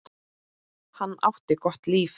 Hann átti gott líf.